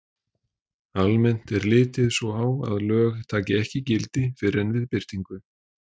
Almennt er litið svo á að lög taki ekki gildi fyrr en við birtingu.